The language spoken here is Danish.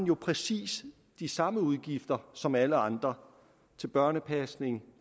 præcis de samme udgifter som alle andre til børnepasning